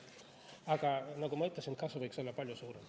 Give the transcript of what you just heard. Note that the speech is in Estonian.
Aga nagu ma ütlesin, kasu võiks olla palju suurem.